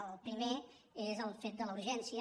el primer és el fet de la ur·gència